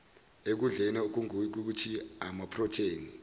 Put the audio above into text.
ekudleni okungukuthi amaprotheni